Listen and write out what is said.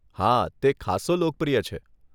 હા, તે ખાસ્સો લોકપ્રિય છે.